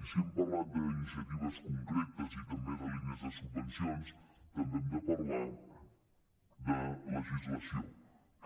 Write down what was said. i si hem parlat d’iniciatives concretes i també de línies de subvencions també hem de parlar de legislació